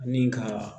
Ani ka